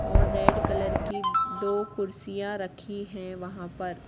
और red colour की दो कुर्सियां रखी हैं वहां पर।